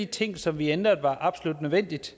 ting som vi ændrede var absolut nødvendigt